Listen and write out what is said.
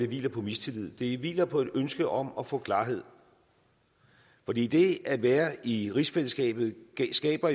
hviler på mistillid det hviler på et ønske om at få klarhed fordi det at være i rigsfællesskabet jo skaber